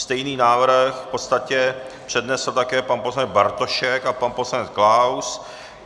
Stejný návrh v podstatě přednesl také pan poslanec Bartošek a pan poslanec Klaus.